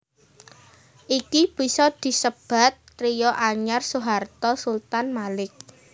Iki bisa disebat trio anyar Soeharto Sultan Malik